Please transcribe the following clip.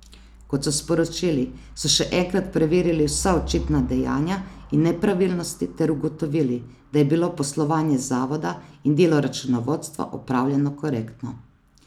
Kot so sporočili, so še enkrat preverili vsa očitana dejanja in nepravilnosti ter ugotovili, da je bilo poslovanje zavoda in delo računovodstva opravljeno korektno.